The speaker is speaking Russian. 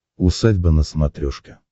усадьба на смотрешке